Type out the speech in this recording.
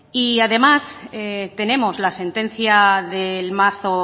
y además tenemos la sentencia del marzo